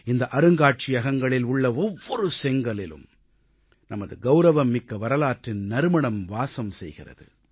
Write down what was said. இந்த அருங்காட்சியகங்களில் உள்ள ஒவ்வொரு செங்கல்லிலும் நமது கௌரவம்மிக்க வரலாற்றின் நறுமணம் வாசம் செய்கிறது